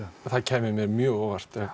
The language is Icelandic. það kæmi mér mjög á óvart